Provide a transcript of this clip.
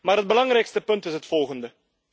Maar het belangrijkste punt is het volgende.